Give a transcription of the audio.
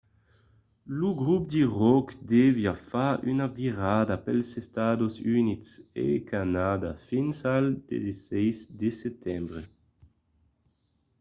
lo grop de ròck deviá fa una virada pels estats units e canadà fins al 16 de setembre